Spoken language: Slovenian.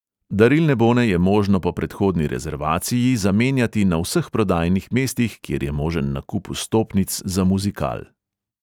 Darilne bone je možno po predhodni rezervaciji zamenjati na vseh prodajnih mestih, kjer je možen nakup vstopnic za muzikal.